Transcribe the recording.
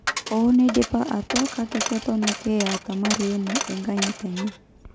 Hoo neidipa atwa, kake keton ake etaa marehemu enkanyit enye'.